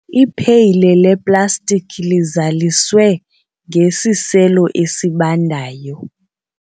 ipheyile leplastiki lizaliswe ngesiselo esibandayo